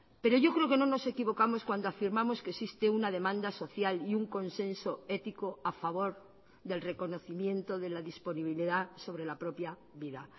pero yo creo que no nos equivocamos cuando afirmamos que existe una demanda social y un consenso ético a favor del reconocimiento de la disponibilidad sobre la propia vida